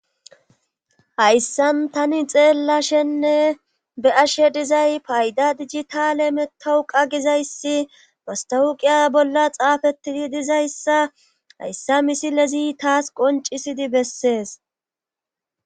hayssan tani xeellashenne be'ashe dizay payda digitale metowu qa gizayssi bastawuqiya bolla xaafetidi dizayssa hayssa misilezi taas qoncisidi bessees